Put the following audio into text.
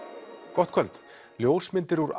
gott kvöld ljósmyndir úr